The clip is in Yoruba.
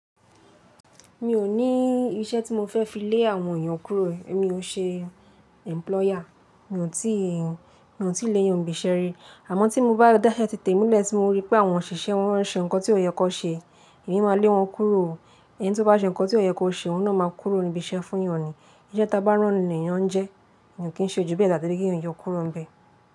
Mi ó ní iṣẹ́ tí mo fẹ́ fi lé àwọn èèyàn kúrò. Èmi ò n ṣe employer, mi ò tíì lè èèyàn bìṣẹ́ rí. Àmọ́ tí mo bá dá isẹ́ tí tèmi lẹ̀ tí mo rí pé àwọn òṣìṣẹ́ wọn n ṣe nǹkan tí ò yẹ kó ṣe, èmi máa lé wọn kúrò ó Ẹni tí ó bá ṣe nǹkan tí ò yẹ kó ṣe òun náà máa kúrò ní ibi iṣẹ́ fún ìyàn ní Isẹ́ ta bá rán ni lè èèyàn n jẹ́, èèyàn kì í ṣe jú bẹ́ẹ̀ tàbí kí èèyàn yọ kúrò n bẹ̀e.